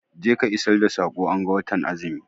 Je ka isar da sakon anga watan azumi!